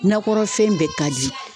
Nakɔ fɛn bɛɛ ka di.